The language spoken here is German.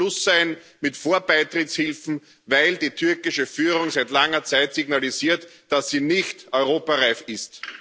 Daher muss Schluss sein mit Vorbeitrittshilfen, weil die türkische Führung seit langer Zeit signalisiert, dass sie nicht europareif ist.